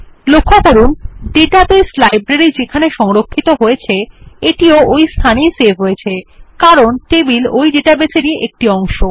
লক্ষ্য করুন database library যেখানে সংরক্ষিত হয়েছে এটিও ওই একই স্থানে সেভ হয়েছে কারণ টেবিল ওই ডাটাবেসেরই একটি অংশ